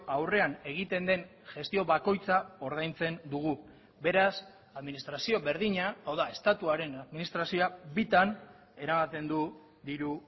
aurrean egiten den gestio bakoitza ordaintzen dugu beraz administrazio berdina hau da estatuaren administrazioa bitan eramaten du diru